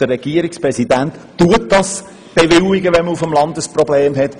Der Regierungsrat bewilligt diese auch, wenn ein Problem besteht.